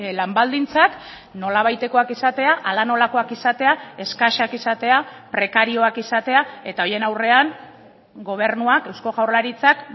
lan baldintzak nolabaitekoak izatea hala nolakoak izatea eskasak izatea prekarioak izatea eta horien aurrean gobernuak eusko jaurlaritzak